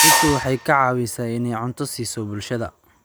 Dhirtu waxay ka caawisaa inay cunto siiso bulshada.